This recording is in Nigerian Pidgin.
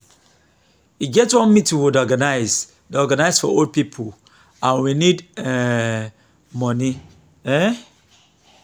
e get one meeting we dey organize dey organize for old people and we need um money um